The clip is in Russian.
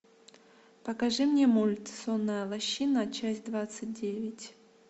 покажи мне мульт сонная лощина часть двадцать девять